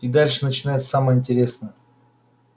и дальше начинается самое интересно